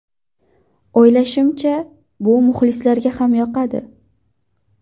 O‘ylashimcha, bu muxlislarga ham yoqadi.